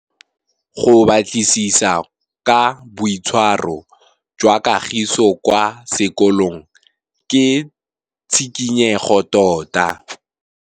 Go batlisisa ka boitshwaro jwa Kagiso kwa sekolong ke tshikinyêgô tota.